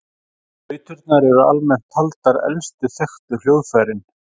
Flauturnar eru almennt taldar elstu þekktu hljóðfærin.